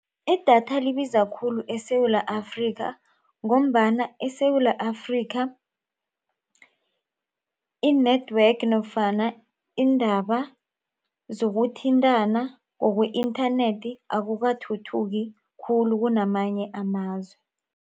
Idatha libiza khulu eSewula Afrika ngombana eSewula Afrika i-network nofana iindaba zokuthintana ngokwe-internet akukathuthuki khulu kunamanye amazwe.